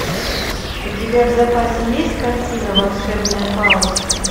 у тебя в запасе есть картина волшебная палочка